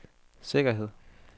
sikkerhed